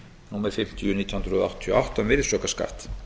númer fimmtíu nítján hundruð áttatíu og átta um virðisaukaskatt